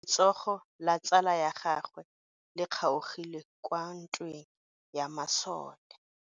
Letsogo la tsala ya gagwe le kgaogile kwa ntweng ya masole.